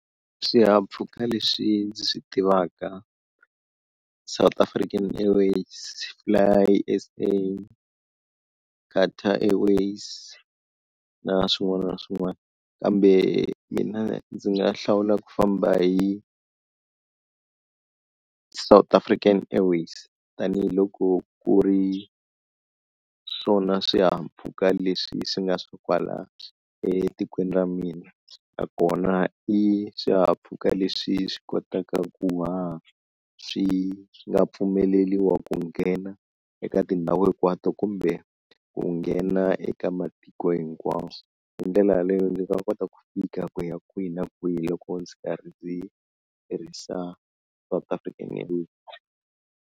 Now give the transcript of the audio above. Swihahampfhuka leswi ndzi swi tivaka South African Airways, Fly S_A, Qatar Airways na swin'wana na swin'wana kambe mina ndzi nga hlawula ku famba hi South African Airways tanihiloko ku ri swona swihahampfhuka leswi swi nga swo kwala etikweni ra mina, nakona i swihahampfhuka leswi swi kotaka ku haha swi swi nga pfumeleriwa ku nghena eka tindhawu hinkwato kumbe ku nghena eka matiko hinkwawo, hi ndlela yaleyo ndzi nga kota ku fika ku ya kwihi na kwihi loko ndzi karhi ndzi tirhisa South African Airways.